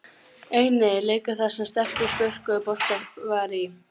Eini leikur þar sem stelpur spörkuðu bolta var í